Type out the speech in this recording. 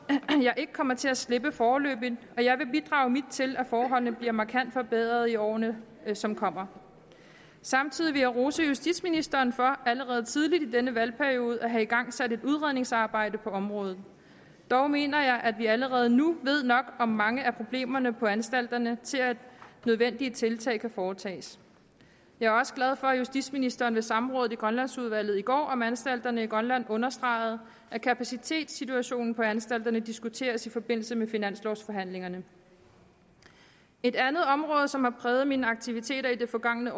ikke kommer til at slippe foreløbig og jeg vil bidrage mit til at forholdene bliver markant forbedret i årene som kommer samtidig vil jeg rose justitsministeren for allerede tidligt i denne valgperiode at have igangsat et udredningsarbejde på området dog mener jeg at vi allerede nu ved nok om mange af problemerne på anstalterne til at nødvendige tiltag kan foretages jeg er også glad for at justitsministeren ved samrådet i grønlandsudvalget i går om anstalterne i grønland understregede at kapacitetssituationen på anstalterne diskuteres i forbindelse med finanslovforhandlingerne et andet område som har præget mine aktiviteter i de forgangne